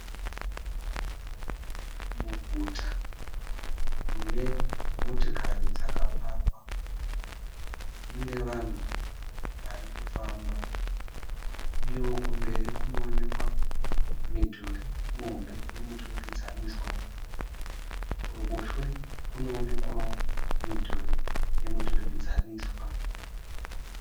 Muguta munemotakari dzakapakwa. Mune vanhu vari kufamba uyewo kumberi kunoekwa midhuri muhombe yemuturikidzaniswa uyewo kuruboshwe kunoonekwa midhuri yemuturikidzaniswa.